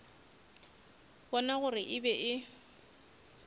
bona gore e be e